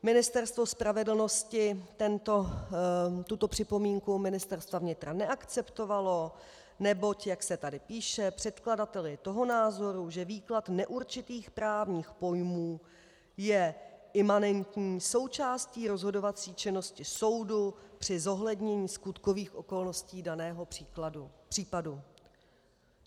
Ministerstvo spravedlnosti tuto připomínku Ministerstva vnitra neakceptovalo, neboť, jak se tady píše, předkladatel je toho názoru, že výklad neurčitých právních pojmů je imanentní součástí rozhodovací činnosti soudu při zohlednění skutkových okolností daného případu.